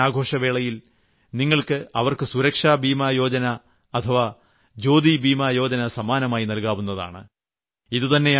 ഈ രക്ഷാബന്ധൻ ആഘോഷവേളയിൽ നിങ്ങൾക്ക് അവർക്ക് സുരക്ഷാ ബീമാ യോജന അഥവാ ജ്യോതി ബീമായോജന സമ്മാനമായി നൽകാവുന്നതാണ്